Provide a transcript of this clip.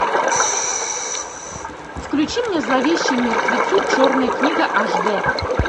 включи мне зловещие мертвецы черная книга аш дэ